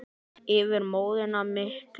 Yfir móðuna miklu.